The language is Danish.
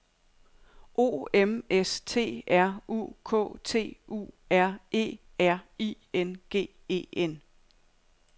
O M S T R U K T U R E R I N G E N